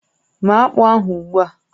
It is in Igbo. Méé akpụ ahụ ugbu a!